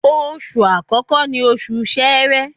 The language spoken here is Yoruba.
Oṣù àkọ́kọ́ ni Oṣù Sẹẹ̀rẹ